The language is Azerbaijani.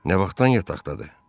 Nə vaxtdan yataqdadır?